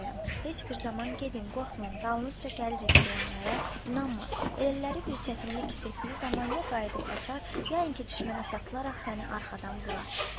Heç bir zaman gedin, qorxmayın, dalınızca gəlirik deyənlərə inanma, elələri bir çətinlik hiss etdiyi zaman ya qayıdıb qaçar, ya inki düşmənə satılaraq səni arxadan vurar.